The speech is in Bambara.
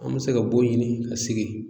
An mi se ka bon ɲini ka sigi.